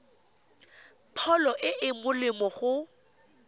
pholo e e molemo go